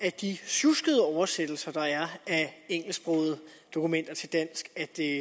af de sjuskede oversættelser der er af engelsksprogede dokumenter til dansk